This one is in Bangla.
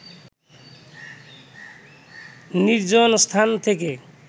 নির্জন স্থান থেকে